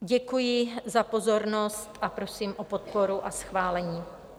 Děkuji za pozornost a prosím o podporu a schválení.